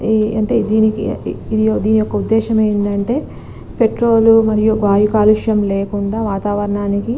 అంటే దేనికి ఒక ఉదేశం ఏంటి అంటే పెట్రోల్ మరియు బే కల్లుష లేకుండా ---